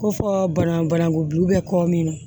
Ko fɔ bana bananku bɛ kɔ min na